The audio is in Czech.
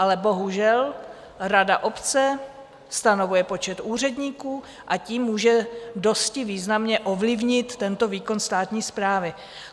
Ale bohužel rada obce stanovuje počet úředníků a tím může dosti významně ovlivnit tento výkon státní správy.